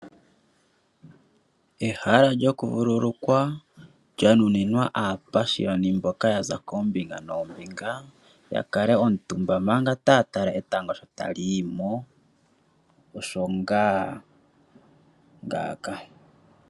Ehala lyokuvululukwa lya nuninwa aapashiyoni mboka ya za koombinga noombinga ya kale omutumba manga taya tala etango sho tali yi mo, osho ngaa ngaaka.